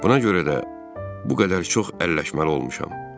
Buna görə də bu qədər çox əlləşməli olmuşam.